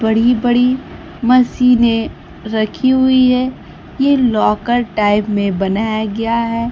बड़ी बड़ी मशीन रखी हुई है ये लाकर टाइप में बनाया गया है।